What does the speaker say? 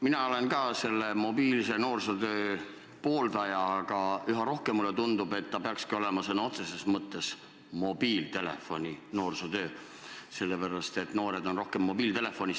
Mina olen ka mobiilse noorsootöö pooldaja, aga üha rohkem mulle tundub, et see peakski olema sõna otseses mõttes mobiiltelefoni-noorsootöö, sest noored on aina rohkem mobiiltelefonis.